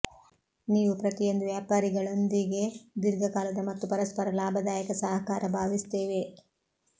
ನೀವು ಪ್ರತಿಯೊಂದು ವ್ಯಾಪಾರಿಗಳೊಂದಿಗೆ ದೀರ್ಘಕಾಲದ ಮತ್ತು ಪರಸ್ಪರ ಲಾಭದಾಯಕ ಸಹಕಾರ ಭಾವಿಸುತ್ತೇವೆ